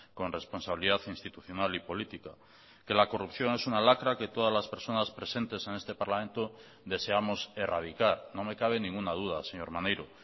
con responsabilidad institucional y política que la corrupción es una lacra que todas las personas presentes en este parlamento deseamos erradicar no me cabe ninguna duda señor maneiro